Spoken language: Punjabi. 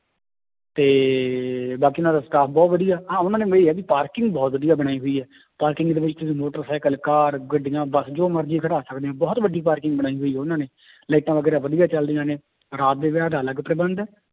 ਤੇ ਬਾਕੀ ਉਹਨਾਂ ਦਾ staff ਬਹੁਤ ਵਧੀਆ, ਹਾਂ ਉਹਨਾਂ ਦੇ ਇਹ ਆ ਵੀ parking ਬਹੁਤ ਵਧੀਆ ਬਣਾਈ ਹੋਈ ਹੈ parking ਦੇ ਵਿੱਚ ਮੋਟਰ ਸਾਈਕਲ, ਕਾਰ, ਗੱਡੀਆਂ, ਬਸ ਜੋ ਮਰਜ਼ੀ ਖੜਾ ਸਕਦੇ ਹਾਂ ਬਹੁਤ ਵੱਡੀ parking ਬਣਾਈ ਹੋਈ ਹੈ ਉਹਨਾਂ ਨੇ ਲਾਇੰਟਾਂ ਵਗ਼ੈਰਾ ਵਧੀਆ ਚੱਲਦੀਆਂ ਨੇ ਰਾਤ ਦੇ ਵਿਆਹ ਦਾ ਅਲੱਗ ਪ੍ਰਬੰਧ ਹੈ,